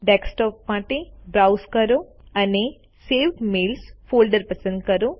desktop માટે browse કરો અને સેવ્ડ મેઇલ્સ ફોલ્ડર પસંદ કરો